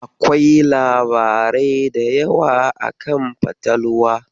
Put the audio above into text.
Akwai labarai da yawa akan fatalwa.